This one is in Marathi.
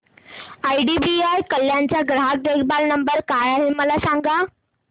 आयडीबीआय कल्याण चा ग्राहक देखभाल नंबर काय आहे मला सांगा